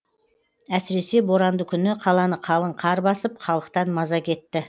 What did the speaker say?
әсіресе боранды күні қаланы қалың қар басып халықтан маза кетті